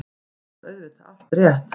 Þar var auðvitað allt rétt.